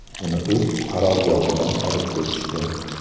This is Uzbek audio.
Uni o‘z qarorgohidan olib ketishdi.